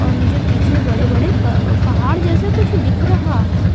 और मुझे पीछे बड़े-बड़े पहाड़ जैसे कुछ दिख रहा है।